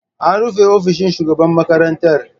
An rufe ofishin shugaban makarantar.